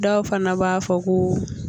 Dɔw fana b'a fɔ ko